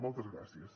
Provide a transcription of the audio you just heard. moltes gràcies